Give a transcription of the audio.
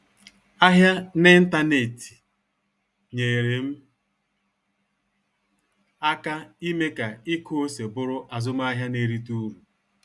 Ahịa n'ịntanetị nyere m aka ime ka ịkụ ose bụrụ azụmahịa na-erite uru